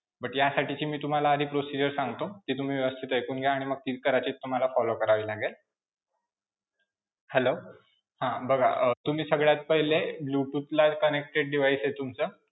But ह्यासाठीची मी तुम्हाला आधी procedure सांगतो, ती तुम्ही व्यवस्थित ऐकून घ्या आणि मग ती कदाचित तुम्हाला follow करावी लागेल. hello हां बघा, अं तुम्ही सगळ्यात पहिले bluetooth ला connected device आहे तुमचं.